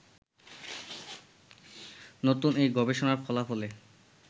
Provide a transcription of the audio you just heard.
নতুন এই গবেষণার ফলাফলে